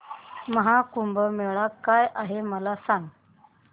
महा कुंभ मेळा काय आहे मला सांग